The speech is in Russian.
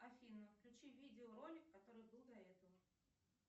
афина включи видео ролик который был до этого